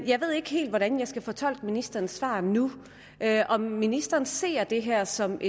jeg ved ikke helt hvordan jeg skal fortolke ministerens svar nu om ministeren ser det her som